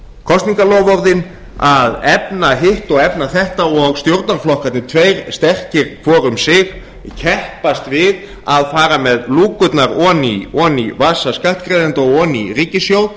kosningaloforðin að efna hitt og efna þetta og stjórnarflokkarnir tveir sterkir hvor um sig keppast við að fara með lúkurnar ofan í vasa skattgreiðenda og ofan í ríkissjóð